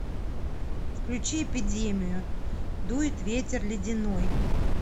включи эпидемию дует ветер ледяной